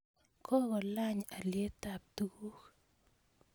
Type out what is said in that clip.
kokolany alietap tuguuk